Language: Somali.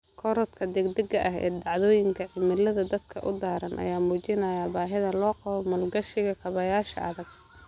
Korodhka degdega ah ee dhacdooyinka cimilada aadka u daran ayaa muujinaya baahida loo qabo maalgashiga kaabayaasha adag.